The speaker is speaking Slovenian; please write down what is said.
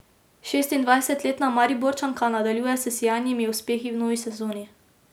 Šestindvajsetletna Mariborčanka nadaljuje s sijajnimi uspehi v novi sezoni.